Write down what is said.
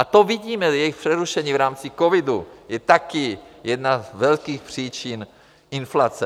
A to vidíme, jejich přerušení v rámci covidu je taky jedna z velkých příčin inflace.